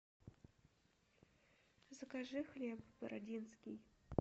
закажи хлеб бородинский